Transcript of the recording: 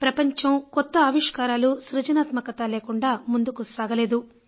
ప్రపంచం కొత్త ఆవిష్కారాలు సృజనాత్మకత లేకుండా ముందుకు సాగలేదు